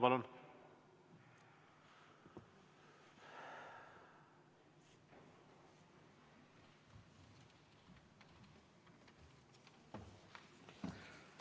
Palun!